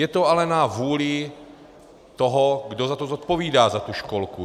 Je to ale na vůli toho, kdo za to zodpovídá, za tu školku.